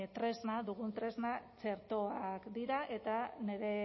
tresna dugun tresna txertoak dira eta nire